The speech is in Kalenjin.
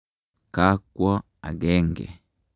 Ka kwo akenge.